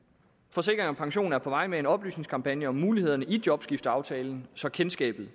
forsikring pension er på vej med en oplysningskampagne om mulighederne i jobskifteaftalen så kendskabet